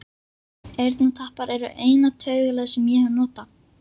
Eyrnatappar eru eina taugalyf sem ég hef notað.